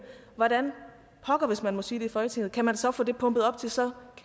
hvordan pokker hvis man må sige det i folketinget kan man så få det pumpet op til så